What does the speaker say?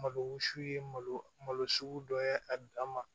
Malo sugu ye malo malo sugu dɔ ye a dan ma